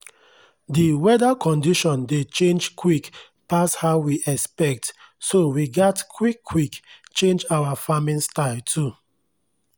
the weather condition dey change quick pass how we expect so we gats quick quick change our farming style too.